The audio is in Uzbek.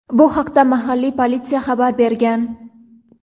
Bu haqda mahalliy politsiya xabar bergan.